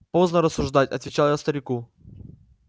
поздно рассуждать отвечал я старику